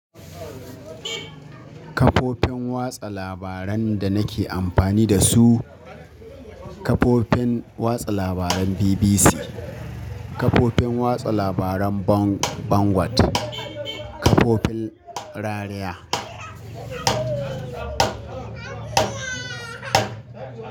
Kafofin watsa labaran da nake amfani da su, kafofin watsa labaran BBC, kafofin watsa labaran Bang, Bangwat, kafofin rariya.